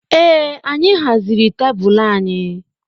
Ee anyị haziri tebụl anyị